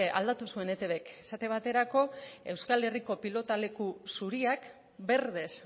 aldatu zuen etbk esaten baterako euskal herriko pilotaleku zuriak berdez